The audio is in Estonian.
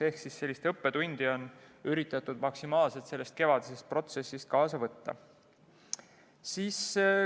Ehk sellist õppetundi on üritatud maksimaalselt kevadisest protsessist kaasa võtta.